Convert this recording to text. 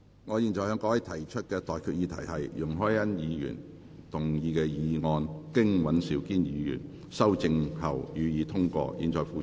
我現在向各位提出的待決議題是：容海恩議員動議的議案，經尹兆堅議員修正後，予以通過。